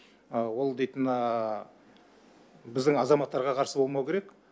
ол дейтін біздің азаматтарға қарсы болмауы керек